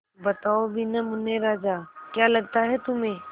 बताओ भी न मुन्ने राजा क्या लगता है तुम्हें